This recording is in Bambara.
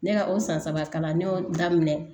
Ne ka o san saba kalan ne y'o daminɛ